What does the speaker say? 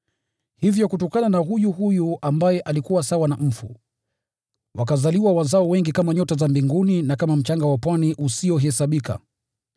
Hivyo kutokana na huyu huyu ambaye alikuwa sawa na mfu, wakazaliwa wazao wengi kama nyota za mbinguni na kama mchanga wa pwani usiohesabika.